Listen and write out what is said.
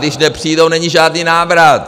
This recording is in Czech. Když nepřijdou, není žádný návrat.